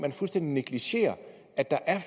man fuldstændig negligerer at der